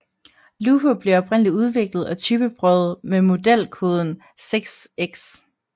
Lupo blev oprindeligt udviklet og typeprøvet med modelkoden 6X